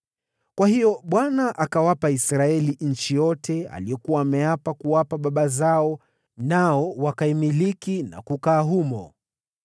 Kwa hiyo Bwana akawapa Israeli nchi yote aliyokuwa ameapa kuwapa baba zao, nao wakaimiliki na kukaa humo.